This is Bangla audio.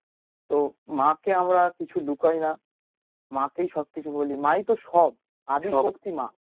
তো মা কে আমরা কিছু লুকোই না মা কেই সবকিছু বলি, মাই তো সব আদি সত্যি মা